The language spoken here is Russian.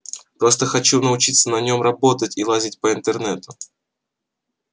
просто хочу научиться на нём работать и лазить по интернету